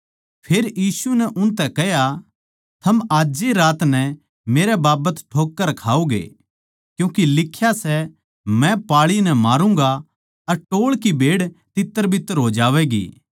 फेर यीशु नै उनतै कह्या थम आज ए रात नै मेरै बाबत ठोक्कर खाओगे क्यूँके लिख्या सै मै पाळी नै मारूँगा अर टोळ की भेड़ तित्तरबित्तर हो जावैंगी